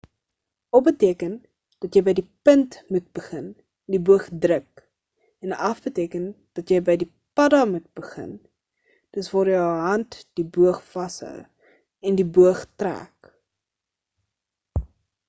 op beteken dat jy by die punt moet begin en die boog druk en af beteken dat jy by die padda moet begin dis waar jou hand die boog vashou en die boog trek